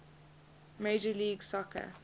major league soccer